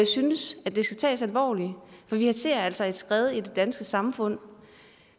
synes det skal tages alvorligt for vi ser altså et skred i det danske samfund